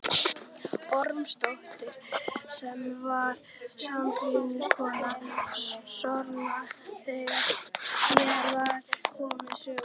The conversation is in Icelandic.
Ormsdóttur sem var sambýliskona Snorra þegar hér var komið sögu.